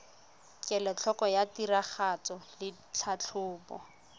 kelotlhoko ya tiragatso le tlhatlhobo